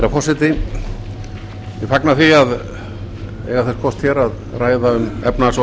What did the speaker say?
ég fagna því að eiga þess kost að ræða um efnahags og